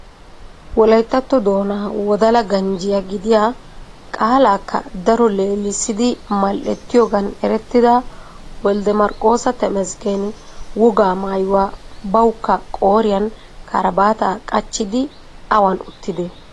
Wolayttatto doonaa Wodala ganjjiyaa gidiyaa, qaalakka daro leelessidi mal"ettiyoogan erettida Woldde Marqqosa Tamasggen wogaa maayuwa bawukka qooriyan karbbaata qachchidi awan uttidee?